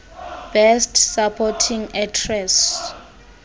best supporting actress